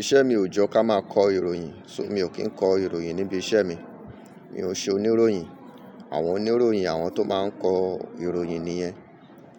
Iṣẹ́ mi ò jẹ́ ká máa kọ ìròyìn, ṣùgbọ́n mi ò kí ń kọ ìròyìn níbi iṣẹ́ mi. Mi ò ṣe oníròyìn. Àwọn oníròyìn àwọn tó máa ń kọ ìròyìn nìyẹn.